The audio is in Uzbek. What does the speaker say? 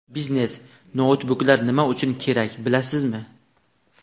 Biznes-noutbuklar nima uchun kerak, bilasizmi?.